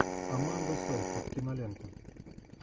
аманда сейфрид кинолента